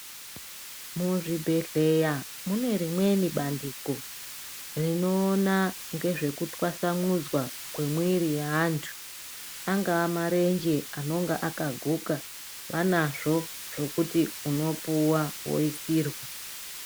Muzvibhendleya mune rimweni bandiko rinoona ngezvekutwasanudzwa kwemwiri yeantu. Angaa marenje anonga akaguka vanazvo zvekuti unopuwa woisirwa.